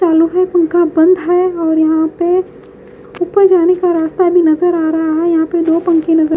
सालों से पंखा बंद है और यहां पे ऊपर जाने का रास्ता भी नजर आ रहा है। यहां पर दो पंखे नजर--